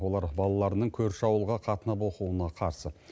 олар балаларының көрші ауылға қатынап оқуына қарсы